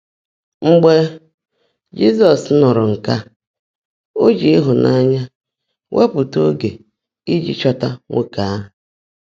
Mgbe Jị́zọ́s nụ́rụ́ nkè á, ó jị́ ị́hụ́nányá weèpụ́tá óge íjí chọ́tá nwoòké áhụ́.